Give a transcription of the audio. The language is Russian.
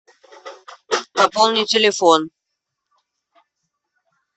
пополни телефон